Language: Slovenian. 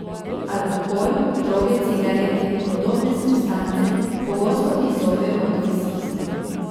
Alkohol, droge, cigarete in podobne substance pogosto izzovejo odvisnost.